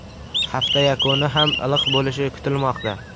Hafta yakuni ham iliq bo‘lishi kutilmoqda.